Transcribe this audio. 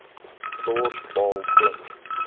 dors baal pluk